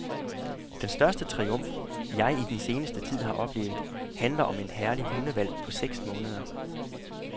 Den største triumf, jeg i den seneste tid har oplevet, handler om en herlig hundehvalp på seks måneder.